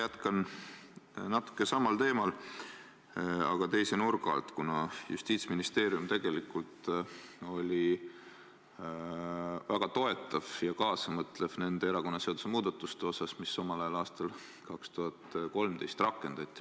Ma jätkan natuke samal teemal, aga teise nurga alt, kuna Justiitsministeerium oli tegelikult väga toetav ja kaasamõtlev erakonnaseaduse nende muudatuste suhtes, mis omal ajal, aastal 2013 rakendati.